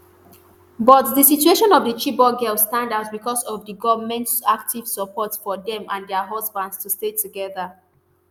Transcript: but di situation of di chibok girls stand out becos of di goment active support for dem and dia husbands to stay togeda